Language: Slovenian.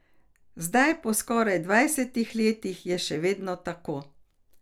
Zdaj, po skoraj dvajsetih letih, je še vedno tako.